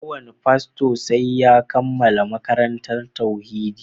Ko wane fasto sai ya kammala makarantar tauhidi